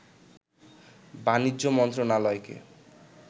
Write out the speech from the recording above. বাণিজ্য মন্ত্রণালয়কে